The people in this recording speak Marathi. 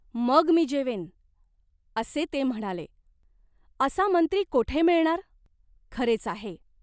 मग मी जेवेन,' असे ते म्हणाले. असा मंत्री कोठे मिळणार ?"" खरेच आहे.